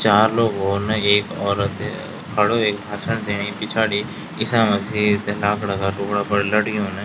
चार लोग हो ना एक औरत खडू वेक हसण दिनी पिछाड़ी ईसामसीह इतन आकड़ा का टुकड़ा लटगयुं न।